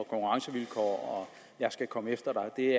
jeg skal komme efter dig det